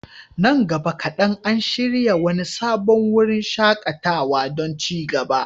Nan gaba kaɗan, an shirya wani sabon wurin shaƙatawa don ci gaba.